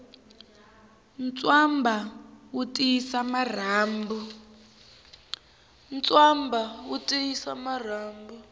ntswamba wu tiyisa marhambu